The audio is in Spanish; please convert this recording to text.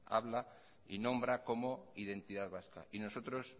habla y nombra como identidad vasca nosotros